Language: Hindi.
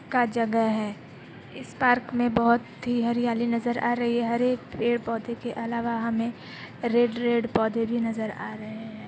जगह है। इस पार्क में बोहोत ही हरियाली नजर आ रही है। हरे पेड़-पौध के अलावा हमे रेड - रेड पौधा भी नजर आ रहा है।